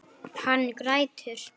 Hann grætur.